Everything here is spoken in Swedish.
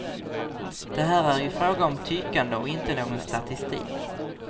Det här är ju fråga om tyckande och inte någon statistik.